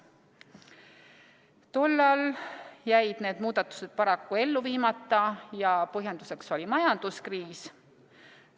Tol ajal jäid need muudatused paraku ellu viimata, põhjenduseks majanduskriis.